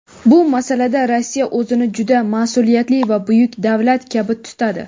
Bu masalada Rossiya o‘zini juda mas’uliyatli va buyuk davlat kabi tutadi.